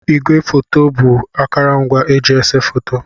Ígwé fòto bụ akurungwa eji ese fòto.